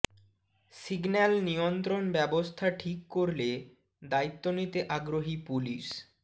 signal নিয়ন্ত্রণ ব্যবস্থা ঠিক করলে দায়িত্ব নিতে আগ্রহী পুলিশ